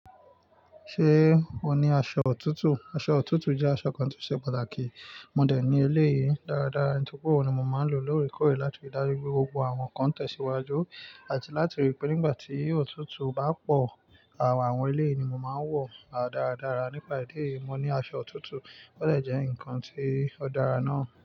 Ṣé o ní aṣọ òtútù? Aṣọ òtútù jẹ́ aṣọ kan tí ó ṣe pàtàkì. Mo dẹ̀ eleyìí dáradára, nítorí pé òun ni mo máa ń lò lóre kọ̀re láti rí dáju pé gbogbo àwọn nǹkan tẹ̀síwájú àti láti rí pé nígbà tí òtútù bá pọ̀, àwọn eleyìí ni mo máa ń wọ̀ dáradára. Nípa idi eyìí, mo ní aṣọ òtútù ò dẹ̀ jẹ́ ǹkan tí ó dára náà.